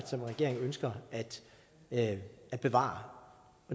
som regering ønsker at bevare